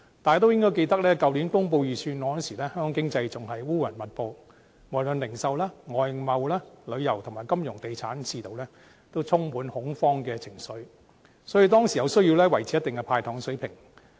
大家應該記得，去年公布預算案時，香港的經濟仍然烏雲密布，無論是零售、外貿、旅遊和金融地產的市道，也充滿恐慌的情緒，所以當時有需要維持一定的"派糖"水平。